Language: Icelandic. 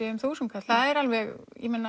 um þúsund kall það er alveg